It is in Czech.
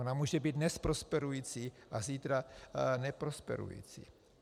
Ona může být dnes prosperující a zítra neprosperující.